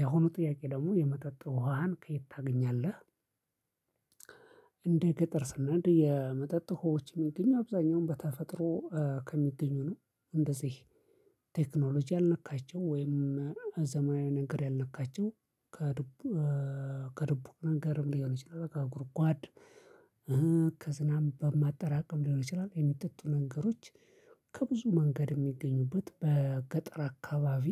የሆኑ ጥያቄ ደግሞ የመጠጥ ውሃህን ከየት ታገኛለህ? እንደ ገጠር ስናድግ የመጠጥ ሆዉሃዎች የሚገኙ አብዛኛውን በተፈጥሮ ከሚገኙ ነው እንደዚህ ቴክኖሎጂ አልነካቸው ወይም ዘመናዊ ነገር ያልነካቸው ከድቡክ ከድቡክ ነገርም ሊሆን ይችላል ከጉርጓድ ከዝናም በማጠራቀም ሊሆን ይችላል የሚጠጡ ነገሮች ከብዙ መንገድ የሚገኙበት በገጠር አካባቢ።